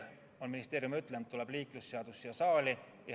Ministeerium on öelnud, et liiklusseadus tuleb veel kahel korral siia saali.